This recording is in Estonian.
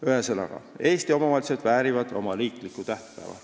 Ühesõnaga, Eesti omavalitsused väärivad oma riiklikku tähtpäeva.